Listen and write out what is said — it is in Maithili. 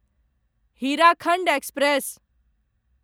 हीराखण्ड एक्सप्रेस